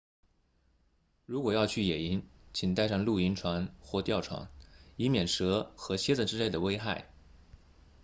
如果要去野营请带上露营床或吊床以免蛇和蝎子之类的危害